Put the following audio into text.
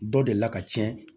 Dɔ deli ka tiɲɛ